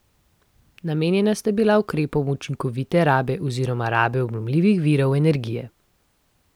Namenjena sta bila ukrepom učinkovite rabe oziroma rabe obnovljivih virov energije.